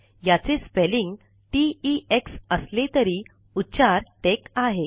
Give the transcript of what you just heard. याचे spelling T E X असले तरी उच्चार टेक आहे